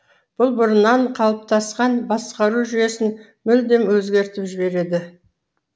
бұл бұрыннан қалыптасқан басқару жүйесін мүлдем өзгертіп жібереді